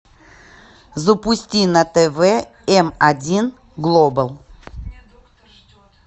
запусти на тв м один глобал